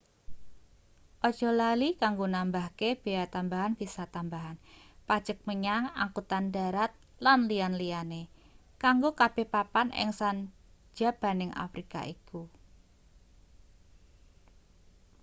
aja lali kanggo nambahke bea tambahan visa tambahan pajek menyang angkutan dharat lan liya-liyane kanggo kabeh papan ing sanjabaning afrika iku